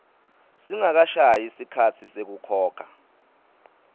singakashayi sikhatsi sekukhokha